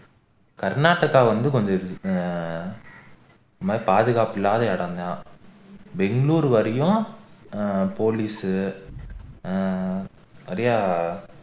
கர்நாடகா வந்து கொஞ்சம் ஆஹ் இதுமாதிரி பாதுகாப்பு இல்லாத இடம்தான் bangalore வரையும் ஆஹ் ஆஹ் ஆஹ் நிறைய